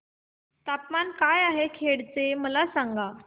तापमान काय आहे खेड चे मला सांगा